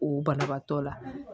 O banabaatɔ la